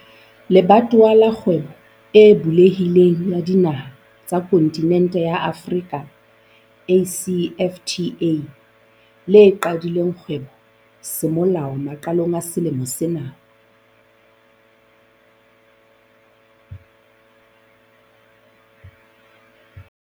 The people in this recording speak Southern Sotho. Le batowa la Kgwebo e Bulehi leng ya Dinaha tsa Kontinente ya Afrika, ACFTA, le qadileng kgwebo semolao maqalong a selemo sena.